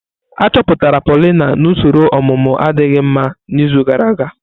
Achọpụtara Paulina na usoro ọmụmụ adịghị mma n'izu gara aga.